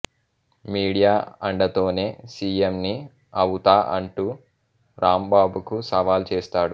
media అండతోనే సీఎంని అవుతా అంటూ రాంబాబుకు సవాల్ చేస్తాడు